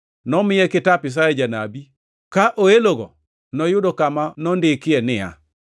Nomiye kitap Isaya janabi, ka oelogo, noyudo kama nondikie ni: